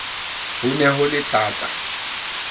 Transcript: ho ne ho le thata